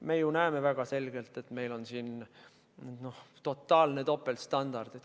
Me ju näeme väga selgelt, et meil on siin totaalne topeltstandard.